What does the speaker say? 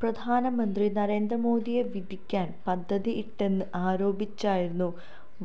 പ്രധാനമന്ത്രി നരേന്ദ്ര മോഡിയെ വധിക്കാന് പദ്ധതിയിട്ടെന്ന് ആരോപിച്ചായിരുന്നു